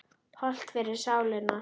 Hollt fyrir sálina.